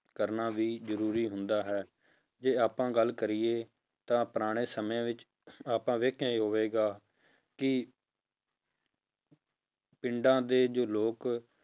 ਕਰਨਾ ਵੀ ਜ਼ਰੂਰੀ ਹੁੰਦਾ ਹੈ, ਜੇ ਆਪਾਂ ਗੱਲ ਕਰੀਏ ਤਾਂ ਪੁਰਾਣੇ ਸਮੇਂ ਵਿੱਚ ਆਪਾਂ ਵੇਖਿਆ ਹੀ ਹੋਵੇਗਾ ਕਿ ਪਿੰਡਾਂ ਦੇ ਜੋ ਲੋਕ